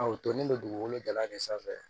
o tolen bɛ dugukolo jalan de sanfɛ